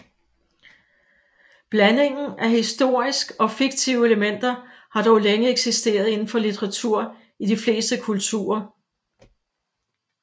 Blandingen af historisk og fiktive elementer har dog længe eksisteret inden for litteratur i de fleste kulturer